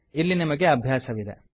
ಇಲ್ಲಿ ನಿಮಗೆ ಅಭ್ಯಾಸವಿದೆ